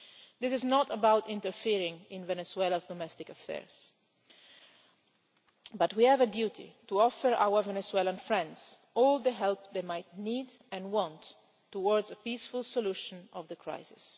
This is not about interfering in Venezuela's domestic affairs, but we have a duty to offer our Venezuelan friends all the help they might need and want towards a peaceful solution of the crisis.